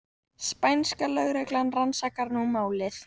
Spænska lögreglan rannsakar nú málið